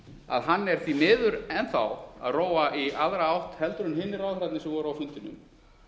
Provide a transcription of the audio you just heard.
að hann er því miður enn þá að róa í aðra átt en hinir ráðherrarnir sem voru á fundinum